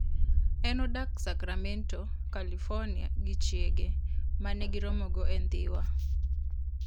En odak Sacramento, California, gi chiege, ma ne giromogo e Dhiwa.